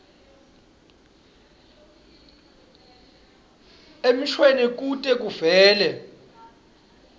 emshweni kute kuvele